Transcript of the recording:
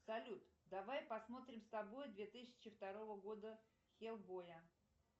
салют давай посмотрим с собой две тысячи второго года хеллбоя